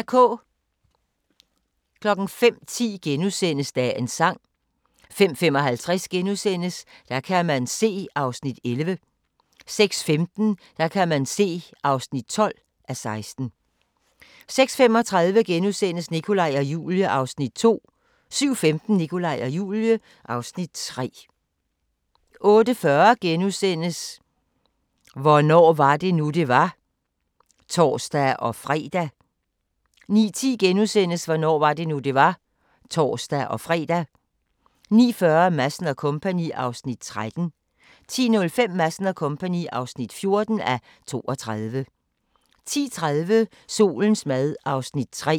05:10: Dagens sang * 05:55: Der kan man se (11:16)* 06:15: Der kan man se (12:16) 06:35: Nikolaj og Julie (Afs. 2)* 07:15: Nikolaj og Julie (Afs. 3) 08:40: Hvornår var det nu, det var? *(tor-fre) 09:10: Hvornår var det nu, det var? *(tor-fre) 09:40: Madsen & Co. (13:32) 10:05: Madsen & Co. (14:32) 10:30: Solens mad (3:6)